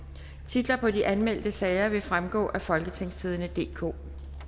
titler på de anmeldte sager vil fremgå af folketingstidende DK